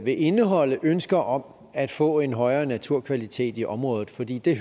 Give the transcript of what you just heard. indeholde ønsker om at få en højere naturkvalitet i området fordi det er